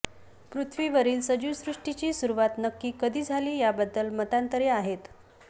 पृथ्वीवरील सजीवसृष्टीची सुरुवात नक्की कधी झाली याबद्दल मतांतरे आहेत